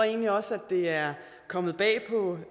egentlig også at det er kommet bag på